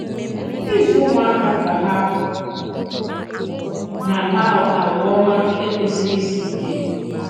Ịzụ̀ ùmụ̀àkà ka hà na-àkpà àgwà òmá ekwèsìrì ìsì ìkè.